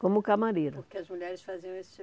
Como camareira. Porque as mulheres faziam esse tipo